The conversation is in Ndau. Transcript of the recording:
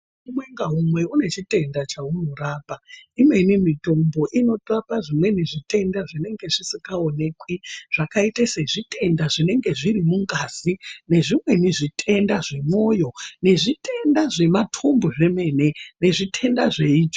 Umwe ngaumwe une chitenda chaunorapa ,imweni mitombo inorapa zvimweni zvitenda zvinenge zvisingaoneki zvakaite sezvitenda zvinenge zviri mungazi, nezvimweni zvitenda zvemwoyo ,nezvitenda zvematumbu zveemene, nezvitenda zveitsvoo.....